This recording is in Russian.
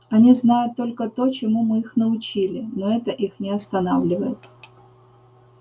они знают только то чему мы их научили но это их не останавливает